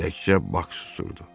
Təkcə Bak susurdu.